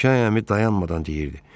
Abişay əmi dayanmadan deyirdi.